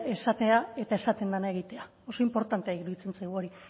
esatea eta esaten dena egitea oso inportantea iruditzen zaigu hori